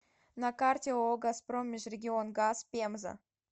на карте ооо газпром межрегионгаз пенза